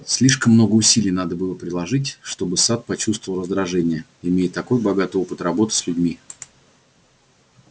слишком много усилий надо было приложить чтобы сатт почувствовал раздражение имея такой богатый опыт работы с людьми